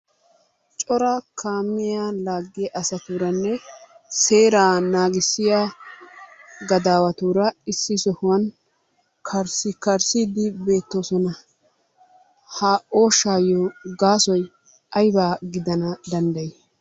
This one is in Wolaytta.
Cora kaamiya laaggiya asatuuranne seeraa naagissiya gadaawatuura issi sohuwan karssikarssiiddi beettoosona. Ha ooshshaayyo gaasoy ayiba gidana danddayi?